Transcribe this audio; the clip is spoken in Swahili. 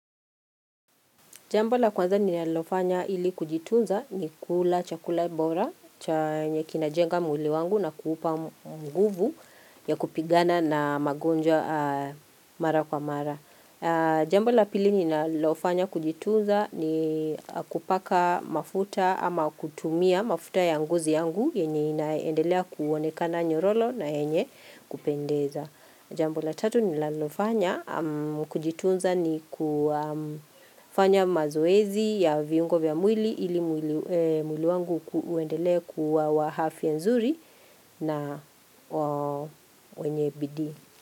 Jambo la kwanza ni nalofanya ili kujitunza ni kula chakula bora, chanye kinajenga mwili wangu na kuupa nguvu ya kupigana na magonjwa mara kwa mara Jambo la pili ni nalofanya kujitunza ni kupaka mafuta ama kutumia mafuta ya ngozi yangu yenye inaendelea kuonekana nyororo na yenye kupendeza. Jambo la tatu nilalofanya kujitunza ni kufanya mazoezi ya viungo vya mwili ili mwili wangu uendele kuwa wa afya nzuri na wenye bidii.